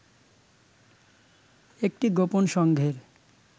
একটি গোপন সংঘের